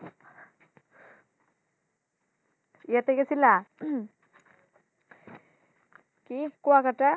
এতে গেছিলা? কি গোয়াঘাটা?